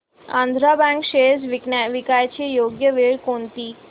Andhra bank shares विकण्याची योग्य वेळ कोणती